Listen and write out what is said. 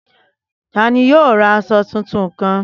Tani yoo ra aṣọ tuntun kan?